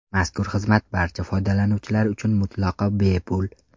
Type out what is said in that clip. Mazkur xizmat barcha foydalanuvchilar uchun mutlaqo bepul.